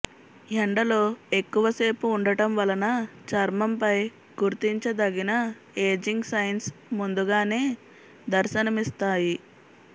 ఎండలో ఎక్కువసేపు ఉండటం వలన చర్మంపై గుర్తించదగిన ఏజింగ్ సైన్స్ ముందుగానే దర్శనమిస్తాయి